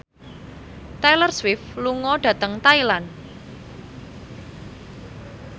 Taylor Swift lunga dhateng Thailand